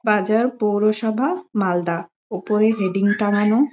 বাজার পৌরসভা মালদা ওপরে হেডিং টাঙ্গানো।